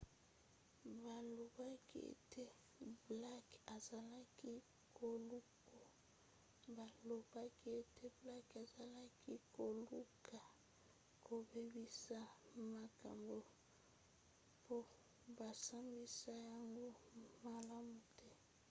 balobaki ete blake azalaki koluka kobebisa makambo po basambisa yango malamu te